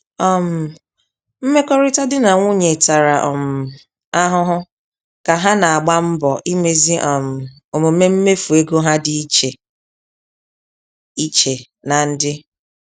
um Mmekọrịta di na nwunye tara um ahụhụ ka ha na-agba mbọ imezi um omume mmefu ego ha dị iche iche na ndị.